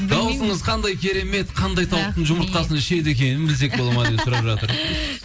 даусыңыз қандай керемет қандай тауықтың жұмыртқасын ішеді екен білсек бола ма деп сұрап жатыр